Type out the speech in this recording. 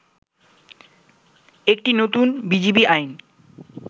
একটি নতুন বিজিবি আইন